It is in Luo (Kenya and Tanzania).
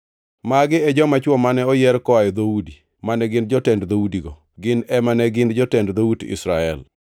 Magi e joma chwo mane oyier koa e dhoudi, mane gin jotend dhoudigo. Gin ema ne gin jotend dhout Israel.